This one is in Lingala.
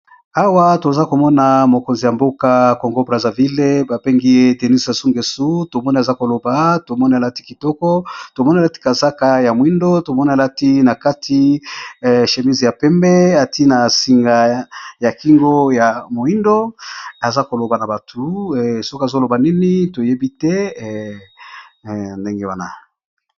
Awa tozali komona photo ya mokonzi ya mboka Congo Brazzaville President Denis Sassou Ngesso.